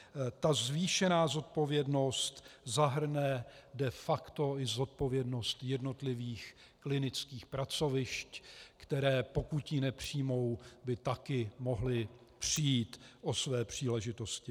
Ta zvýšená zodpovědnost zahrne de facto i zodpovědnost jednotlivých klinických pracovišť, která, pokud ji nepřijmou, by taky mohla přijít o své příležitosti.